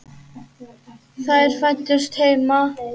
Þær fæddust heima.